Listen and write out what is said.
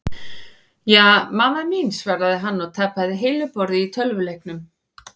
Ja, mamma mín svaraði hann og tapaði heilu borði í tölvuleiknum.